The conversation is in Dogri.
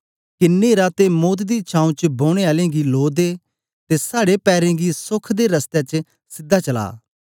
के न्हेरा ते मौत दी छाऊं च बौनें आलें गी लो दे ते साड़े पैरें गी सोख दे रसतै च सीधा चला